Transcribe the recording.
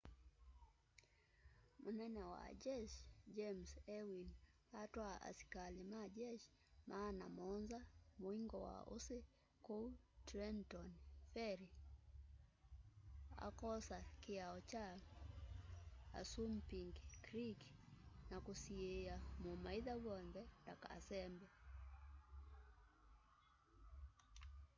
munene wa jeshi james ewing atwaa asikali ma jeshi maana muonza muingo wa ũsi kũu trenton ferry akoosa kiao kya assumnpink creek na kusiia mumaitha wonthe ndakasembe